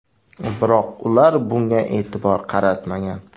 Biroq ular bunga e’tibor qaratmagan.